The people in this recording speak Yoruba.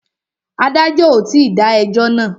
Adájọ́ ò tí dá ẹjọ́ náà.